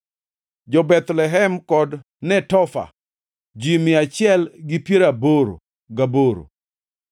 jo-Bethlehem kod Netofa, ji mia achiel gi piero aboro gaboro (188),